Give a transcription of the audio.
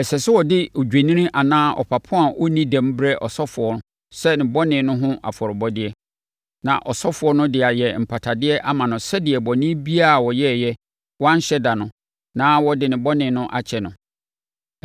Ɛsɛ sɛ ɔde odwennini anaa ɔpapo a ɔnni dɛm brɛ ɔsɔfoɔ sɛ ne bɔne no ho afɔrebɔdeɛ. Na ɔsɔfoɔ no de ayɛ mpatadeɛ ama no sɛdeɛ bɔne biara a ɔyɛeɛ a wanhyɛ da no, na wɔde ne bɔne bɛkyɛ no.